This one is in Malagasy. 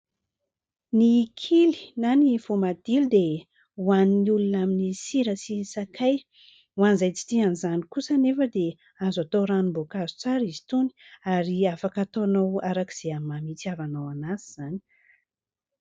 Ny kily na ny voamadilo dia hohanin'ny olona amin'ny sira sy ny sakay. Hoan'izay tsy tian'izany kosa anefa dia azo atao ranom-boankazo tsara izy itony ary afaka ataonao araka izay hamamy hitiavanao azy izany.